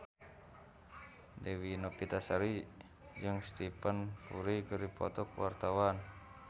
Dewi Novitasari jeung Stephen Fry keur dipoto ku wartawan